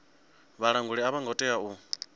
vhalanguli a vho ngo tea